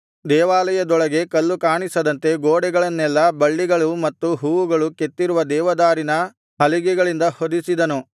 ದೇವಾಲಯದೊಳಗೆ ಕಲ್ಲು ಕಾಣಿಸದಂತೆ ಗೋಡೆಗಳನ್ನೆಲ್ಲಾ ಬಳ್ಳಿಗಳು ಮತ್ತು ಹೂವುಗಳು ಕೆತ್ತಿರುವ ದೇವದಾರಿನ ಹಲಿಗೆಗಳಿಂದ ಹೊದಿಸಿದನು